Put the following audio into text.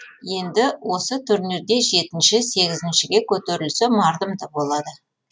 енді осы турнирде жетінші сегізіншіге көтерілсе мардымды болады